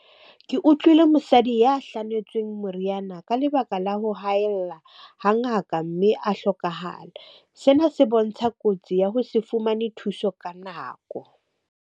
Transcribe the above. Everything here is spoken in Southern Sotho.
Ke utlwile mosadi ya hlanotsweng moriana ka lebaka la ho haella ha ngaka, mme a hlokahala. Sena se bontsha kotsi ya ho se fumane thuso ka nako.